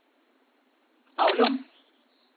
Avlum